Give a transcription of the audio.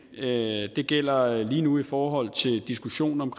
det gælder lige nu i forhold til diskussionen om